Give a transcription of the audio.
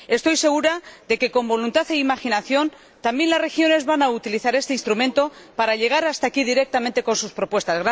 Estoy segura de que, con voluntad e imaginación, también las regiones van a utilizar este instrumento para llegar hasta aquí directamente con sus propuestas.